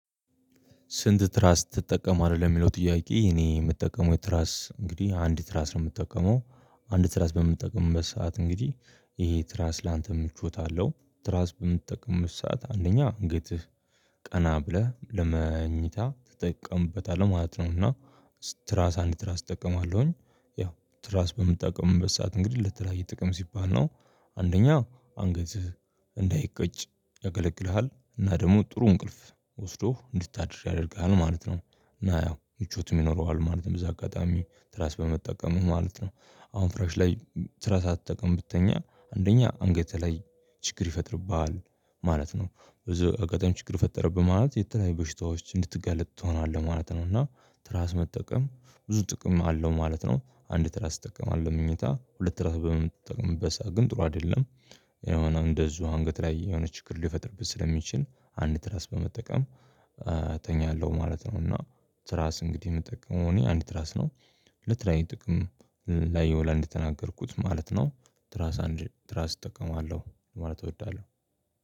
"ስንት ትራስ ትጠቀማለህ?" ለሚለው ጥያቄ እኔ የምጠቀመው ትራስ እንግዲህ አንድ ትራስ ነው የምጠቀመው። አንድ ትራስ በምንጠቀምበት ሰዓት እንግዲህ ይሄ ትራስ ላንት ምቾት አለው። ትራስ በምትጠቀምበት ሰዓት አንደኛ አንገትህ ቀና ብለህ ለመኝታ ትጠቀምበታለህ ማለት ነው፤ እና ትራስ አንድ ትራስ እጠቀማለሁኝ። ያው ትራስ በምጠቀምበት ሰዓት እንግዲህ ለተለያየ ጥቅም ሲባል ነው። አንደኛ አንገትህ እንዳይቀጭ ያገለግልሃል፤ እና ደግሞ ጥሩ እንቅልፍ ወስዶህ እንድታድር ያደርግሃል ማለት ነው፤ እና ያው ምቾቱም ይኖረዋል ማለትም በዚህ አጋጣሚ ትራስ በመጠቀምህ ማለት ነው። አሁን ፍራሽ ላይ ትራስ ሳትጠቅም ብትተኛ አንደኛ አንገትህ ላይ ችግር ይፈጥርብሃል፣ ማለት ነው። በዚሁ አጋጣሚ ችግር ፈጠረብህ ማለት የተለያዩ በሽታዎች እንድትጋለጥ ትሆናለህ ማለት ነው፤ እና ትራስ መጠቀም ብዙ ጥቅም አለው ማለት ነው። አንድ ትራስ እጠቀማለሁ መኝታ ሁለት ትራስ በምጠቀምበት ሰዓት ግን ጥሩ አይደለም። የሆነም እንደዚሁ አንገት ላይ የሆነ ችግር ሊፈጥርብህ ስለሚችል አንድ ትራስ በመጠቀም እተኛለሁ ማለት ነው፤ እና ትራስ እንግዲህ የምጠቀመው እኔ አንድ ትራስ ነው። ለተለያዩ ጥቅም ላይ ይውላል እንደተናገርኩት ማለት ነው። ትራስ አንድ ትራስ እጠቀማለሁ ማለት እወዳለሁ።